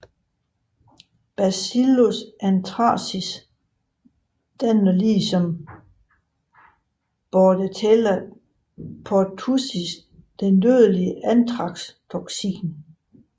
Bacillus anthracis danner ligesom Bordetella pertussis det dødelige anthrax toksin